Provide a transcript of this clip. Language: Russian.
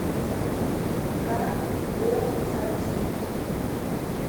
кар го запись